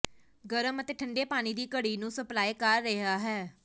ਗਰਮ ਅਤੇ ਠੰਡੇ ਪਾਣੀ ਦੀ ਘੜੀ ਨੂੰ ਸਪਲਾਈ ਕਰ ਰਿਹਾ ਹੈ